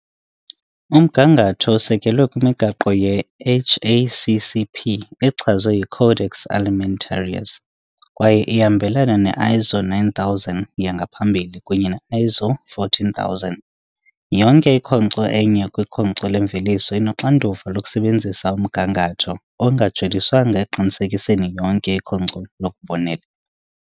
Umgangatho usekelwe kwimigaqo ye-HACCP echazwe yi-Codex Alimentarius, kwaye ihambelana ne-ISO 9000 yangaphambili kunye ne-ISO 14000. Yonke ikhonkco enye kwikhonkco lemveliso inoxanduva lokusebenzisa umgangatho, ongajoliswanga ekuqinisekiseni yonke ikhonkco lokubonelela.